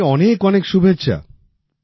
আপনাকে অনেক অনেক শুভেচ্ছা